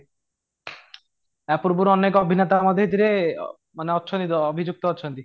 ୟା ପୂର୍ବରୁ ଅନେକ ଅଭିନେତା ମଧ୍ୟ ଏଥିରେ ମାନେ ଅଛନ୍ତି ମାନେ ଅଭିଯୁକ୍ତ ଅଛନ୍ତି